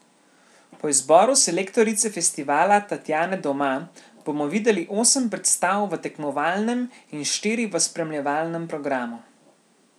Po izboru selektorice festivala Tatjane Doma bomo videli osem predstav v tekmovalnem in štiri v spremljevalnem programu.